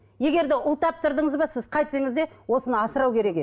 егер де ұл таптырдыңыз ба сіз қайтсеңіз де осыны асырау керек еді